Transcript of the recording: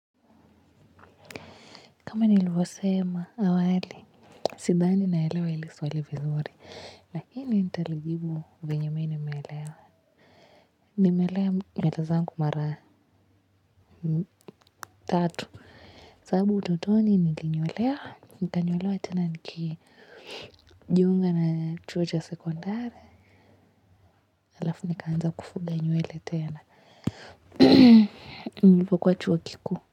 Kama nilivyosema awali, sidhani naelewa hili swali vizuri. Lakini nitalijibu vyenye mimi nimeelewa. Nimelea dada zangu mara tatu. Sababu utotoni nilinyolewa. Nikanyolewa tena nikijiunga na chuo cha sekondari. Halafu nikaanza kufuga nywele tena. Nilipokuwa chuo kikuu.